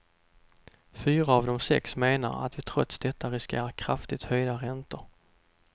Fyra av de sex menar att vi trots detta riskerar kraftigt höjda räntor.